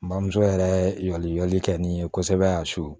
N bamuso yɛrɛ jɔli kɛ nin ye kosɛbɛ ya so